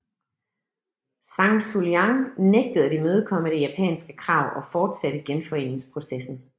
Zhang Xueliang nægtede at imødekomme det japanske krav og fortsatte genforeningsprocessen